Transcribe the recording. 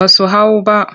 Ba su hau ba.